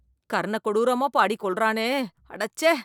கர்ண கொடூரமா பாடி கொல்றானே, அடச்சே.